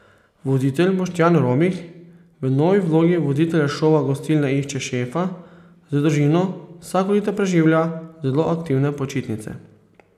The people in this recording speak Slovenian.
Voditelj Boštjan Romih, v novi vlogi voditelja šova Gostilna išče šefa, z družino vsako leto preživlja zelo aktivne počitnice.